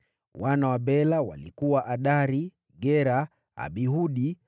Wana wa Bela walikuwa: Adari, Gera, Abihudi,